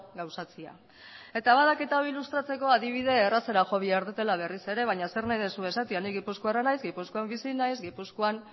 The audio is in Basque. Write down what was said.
gauzatzea eta badakit hau ilustratzeko adibide errazera jo behar dudala berriz ere baina zer nahi duzu esatea ni gipuzkoarra naiz gipuzkoan bizi naiz gipuzkoan